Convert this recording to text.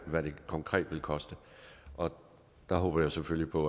hvad det konkret vil koste og der håber jeg selvfølgelig på